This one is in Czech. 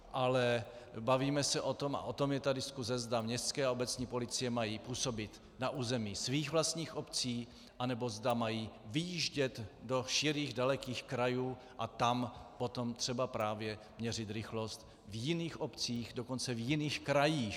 Ale bavíme se o tom, a o tom je ta diskuse, zda městské a obecní policie mají působit na území svých vlastních obcí, anebo zda mají vyjíždět do širých dalekých krajů a tam potom třeba právě měřit rychlost v jiných obcích, dokonce v jiných krajích.